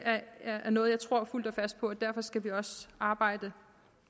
er noget jeg tror fuldt og fast på derfor skal vi også arbejde